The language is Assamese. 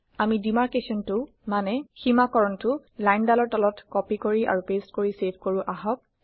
আমি দিমাৰকেছনটো মানে সীমাকৰণটো লাইন দালৰ তলত কপি কৰি আৰু পেচ্ট কৰি চেভ কৰো আহক